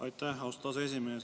Aitäh, austatud aseesimees!